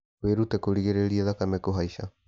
Wĩrute kũrigĩrĩria thakame kũhaica